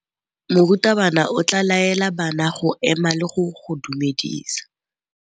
Morutabana o tla laela bana go ema le go go dumedisa.